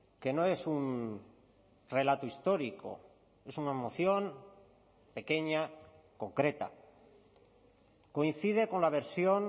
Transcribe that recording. que no es un relato histórico es una moción pequeña concreta coincide con la versión